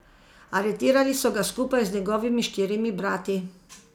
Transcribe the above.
Aretirali so ga skupaj z njegovimi štirimi brati.